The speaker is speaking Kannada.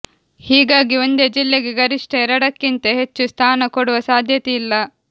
ಹೀಗಾಗಿ ಒಂದೇ ಜಿಲ್ಲೆಗೆ ಗರಿಷ್ಠ ಎರಡಕ್ಕಿಂತ ಹೆಚ್ಚು ಸ್ಥಾನ ಕೊಡುವ ಸಾಧ್ಯತೆ ಇಲ್ಲ